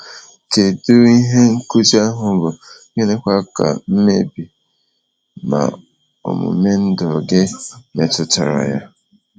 Kedu ihe nkuzi ahụ bụ, gịnịkwa ka mkpebi na omume ndụ gị metụtara ya?